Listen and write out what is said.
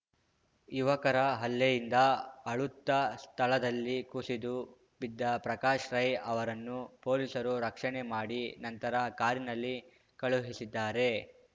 ಯುವಕರ ಹಲ್ಲೆಯಿಂದ ಅಳುತ್ತಾ ಸ್ಥಳದಲ್ಲಿ ಕುಸಿದು ಬಿದ್ದ ಪ್ರಕಾಶ್‌ ರೈ ಅವರನ್ನು ಪೊಲೀಸರು ರಕ್ಷಣೆ ಮಾಡಿ ನಂತರ ಕಾರಿನಲ್ಲಿ ಕಳುಹಿಸಿದ್ದಾರೆ